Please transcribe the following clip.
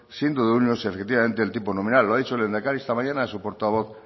siendo efectivamente el tipo nominal lo ha dicho el lehendakari esta mañana a su portavoz